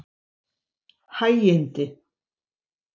Hægindi